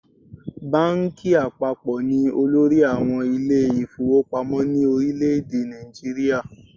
Báńkì àpapọ̀ ni olórí àwọn ilé ìfowópamọ́ ní orílẹ̀ èdè Nàìjíríà.